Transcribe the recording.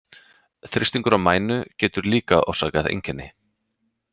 Þrýstingur á mænu getur líka orsakað einkenni.